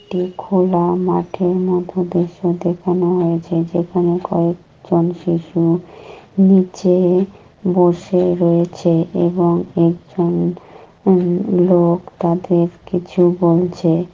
এটি খোলা মাঠের মধ্যে দৃশ্য দেখানো হয়েছে। যেখানে কয়েকজন শিশু নিচে-এ বসে রয়েছে এবং একজন উম লোক তাদের কিছু বলছে।